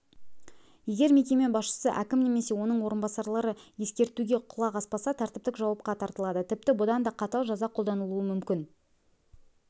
егер мекеме басшысы әкім немесе оның орынбасарлары ескертуге құлақ аспаса тәртіптік жауапқа тартылады тіпті бұдан да қатал жаза қолданылуы мүмкін